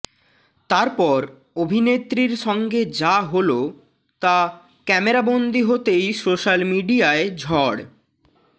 তারপর অভিনেত্রীর সঙ্গে যা হল তা ক্যামেরাবন্দি হতেই সোশ্যাল মিডিয়ায় ঝড়